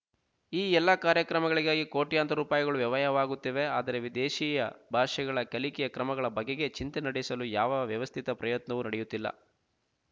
ಈ ಎಲ್ಲ ಕಾರ್ಯಕ್ರಮಗಳಿಗಾಗಿ ಕೋಟ್ಯಂತರ ರೂಪಾಯಿಗಳು ವ್ಯಯವಾಗುತ್ತಿವೆ ಆದರೆ ವಿದೇಶೀಯ ಭಾಷೆಗಳ ಕಲಿಕೆಯ ಕ್ರಮಗಳ ಬಗೆಗೆ ಚಿಂತ ನಡೆಸಲು ಯಾವ ವ್ಯವಸ್ಥಿತ ಪ್ರಯತ್ನಗಳೂ ನಡೆಯುತ್ತಿಲ್ಲ